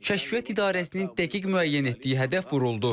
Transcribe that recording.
Kəşfiyyat İdarəsinin dəqiq müəyyən etdiyi hədəf vuruldu.